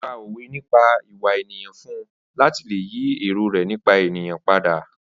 Ó pá òwe nípa ìwà ènìyàn fún un láti lè yí èrò rẹ nípa ènìyàn padà.